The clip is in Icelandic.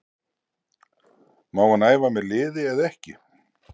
Má hann æfa með liði eða ekki?